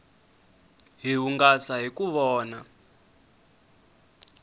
hi hungasa hiku vona